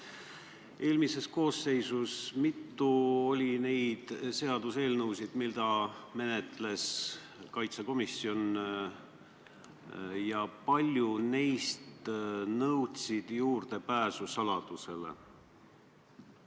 Kui palju oli eelmises koosseisus neid seaduseelnõusid, mida menetles kaitsekomisjon, ja kui paljud neist nõudsid juurdepääsu riigisaladusele?